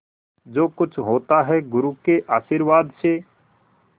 जो कुछ होता है गुरु के आशीर्वाद से